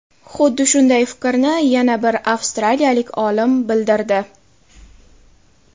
Xuddi shunday fikrni yana bir avstraliyalik olim bildirdi.